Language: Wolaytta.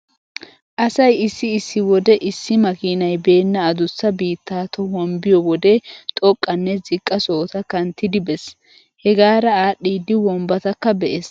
Asay issi issi wode issi makiinay beenna adussa biitta tohuwan biyo wode xoqqanne ziqqa sohota kanttidi bees. Hegaara aadhdhiiddi wombbatakka be'ees.